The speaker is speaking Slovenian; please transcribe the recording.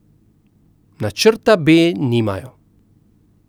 Načrta B nimajo.